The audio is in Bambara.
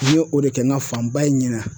N yo o de kɛ n ka fanba ye ɲina.